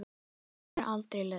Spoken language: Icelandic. Mér hefur aldrei leiðst.